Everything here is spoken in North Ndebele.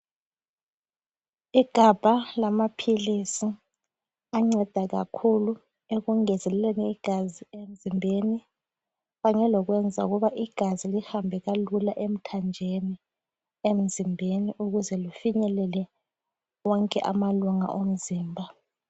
Igabha lamaphilisi anceda kakhulu ekungezeleleni igazi emzimbeni kanye lokwenza ukuba igazi lihambe kalula emthanjeni emzimbeni ukuze lifinyelele wonke amalunga omzimba